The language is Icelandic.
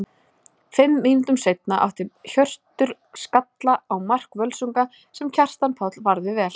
Fimm mínútum seinna átti Hjörtur skalla á mark Völsunga sem Kjartan Páll varði vel.